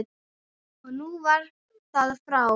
Og nú var það frá.